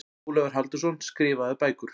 Ólafur Halldórsson, Skrifaðar bækur